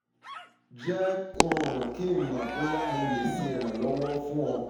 jẹ um ki n mọ boya mo le ṣe iranlọwọ fun ọ siwaju sii